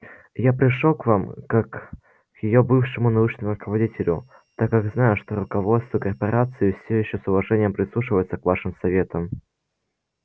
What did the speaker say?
я пришёл к вам как к её бывшему научному руководителю так как знаю что руководство корпорации все ещё с уважением прислушивается к вашим советам